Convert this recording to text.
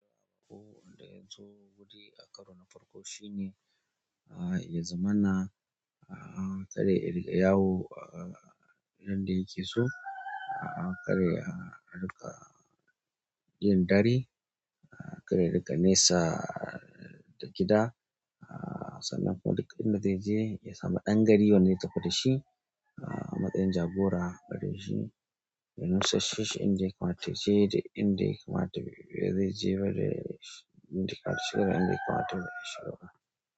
Wanda ya zo guri a karo na farko shine, ah, ya zamana, ah, kar ya riƙa yawo, ah, yanda yake so, ah, kar ya riƙa, ah, riƙa yin ɗari, ah, kar ya riƙa nesa da gida, ah, sannan kuma duk inda zaije ya samu ɗan gari wanda zai tafi da shi, ah, matsin jagora a gare shi. Ya nusassheshi, in da ya kamata ya je ya nusassheshi da in da ya kamata na zai je ba.